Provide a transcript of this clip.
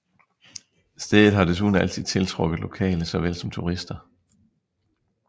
Stedet har desuden altid tiltrukket lokale såvel som turister